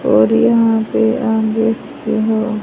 और यहां पे आप देख सकते हो--